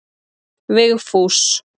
Vigfús